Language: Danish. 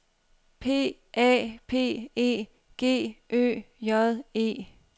P A P E G Ø J E